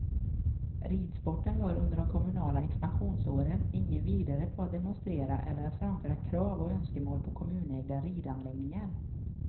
Ridsporten var under de kommunala expansionsåren inget vidare på att demonstrera eller att framföra krav och önskemål på kommunägda ridanläggningar.